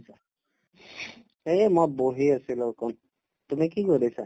এই মই বহি আছিলো অকন, তুমি কি কৰিছা ?